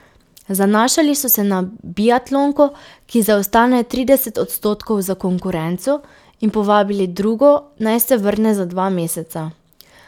Zanašali so se na biatlonko, ki zaostane trideset odstotkov za konkurenco, in povabili drugo, naj se vrne za dva meseca.